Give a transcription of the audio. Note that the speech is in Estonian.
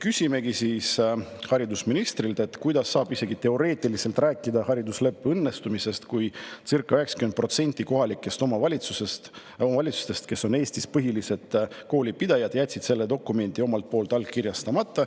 Küsimegi haridusministrilt, kuidas saab isegi teoreetiliselt rääkida haridusleppe õnnestumisest, kui circa 90% kohalikest omavalitsustest, kes on Eestis põhilised koolipidajad, jätsid selle dokumendi allkirjastamata.